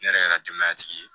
Ne yɛrɛ kɛra denbaya tigi ye